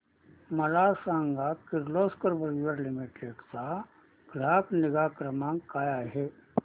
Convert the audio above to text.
मला सांग Kirloskar brother limited चा ग्राहक निगा क्रमांक काय आहे